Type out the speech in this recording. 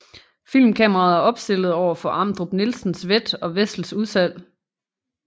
Filmkameraet er opstillet overfor Amdrup Nielsens Vett og Wessels udsalg